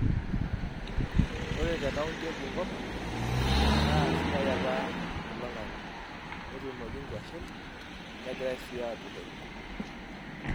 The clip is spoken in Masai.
Ore te kaunti e Bungoma, naa sidai apa oloing`ang`e netuunoki nkuashe negirai sii aakurtoki nkulie.